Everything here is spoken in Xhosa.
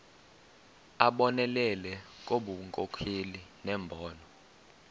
abonelele ngobunkokheli nembono